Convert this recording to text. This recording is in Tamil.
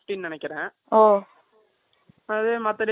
அதே மற்ற days ல போனா eight fifty வரும் நினைக்கிறேன் ஒரு not clear